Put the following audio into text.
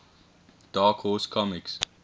dark horse comics